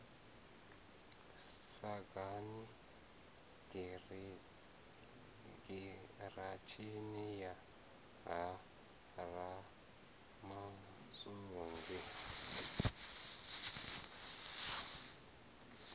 sagani giratshini ya ha ramasunzi